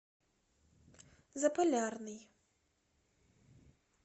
заполярный